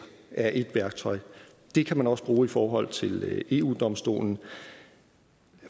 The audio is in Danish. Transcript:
er et værktøj det kan man også bruge i forhold til eu domstolen